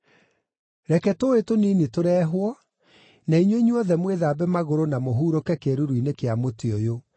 Reke tũũĩ tũnini tũrehwo, na inyuĩ inyuothe mwĩthambe magũrũ na mũhurũke kĩĩruru-inĩ kĩa mũtĩ ũyũ.